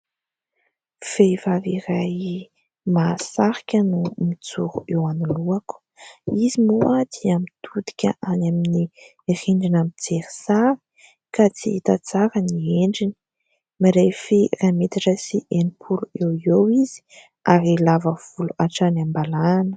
Vehivavy iray mahasarika no mijoro eo anoloako. Izy moa dia mitodika any amin'ny rindrina, mijery sary ka tsy hita tsara ny endriny. Mirefy iray metatra sy enimpolo eo ho eo izy ary lava volo hatrany am-balahana.